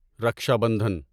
Raksha Bandhan